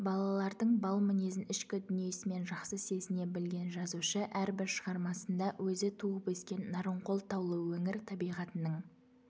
балалардың бал мінезін ішкі дүниесімен жақсы сезіне білген жазушы әрбір шығармасында өзі туып өскен нарынқол таулы өңір табиғатының